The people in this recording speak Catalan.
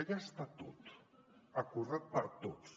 allà està tot acordat per tots